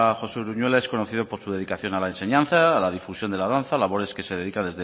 josé uruñuela es conocido por su dedicación a la enseñanza a la difusión de la danza labores a las que se dedica